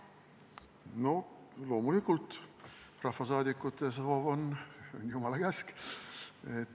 Loomulikult, rahvasaadikute soov on jumala käsk.